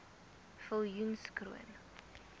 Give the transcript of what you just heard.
viljoenskroon